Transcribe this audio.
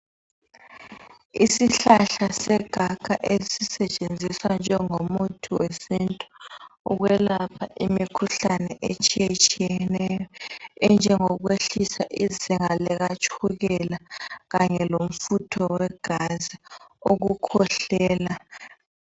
Isihlahla segakha esisetshenziswa njengomuthi wesintu ukwelapha imikhuhlane etshiyetshiyeneyo enjengokwehlisa izinga likatshukela kanye lomfutho wegazi, ukukhwehlela.